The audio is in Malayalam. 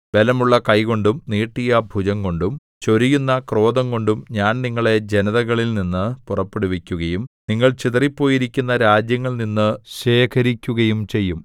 ബലമുള്ള കൈകൊണ്ടും നീട്ടിയ ഭുജംകൊണ്ടും ചൊരിയുന്ന ക്രോധംകൊണ്ടും ഞാൻ നിങ്ങളെ ജനതകളിൽനിന്നു പുറപ്പെടുവിക്കുകയും നിങ്ങൾ ചിതറിപ്പോയിരിക്കുന്ന രാജ്യങ്ങളിൽനിന്നു ശേഖരിക്കുകയും ചെയ്യും